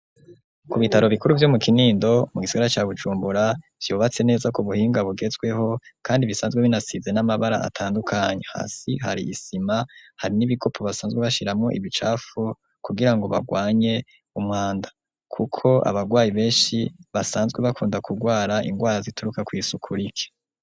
Ku bitaro bikuru vyo mu Kinindo mu gisigara ca Bucumbura vyubatse neza ku buhinga bugezweho kandi bisanzwe binasize n'amabara atandukanye hasi hari isima hari n'ibikopo basanzwe bashiramo ibicafu kugirango bagwanye umwanda kuko abagwayi beshi basanzwe bakunda kugwara ingwara zituruka ku isuku rike.